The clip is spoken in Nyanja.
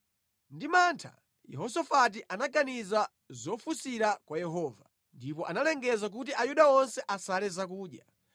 Ndi mantha, Yehosafati anaganiza zofunsira kwa Yehova, ndipo analengeza kuti Ayuda onse asale zakudya.